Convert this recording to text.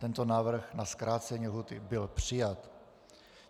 Tento návrh na zkrácení lhůty byl přijat.